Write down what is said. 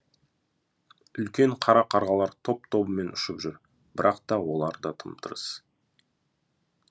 үлкен қара қарғалар топ тобымен ұшып жүр бірақ та олар да тым тырыс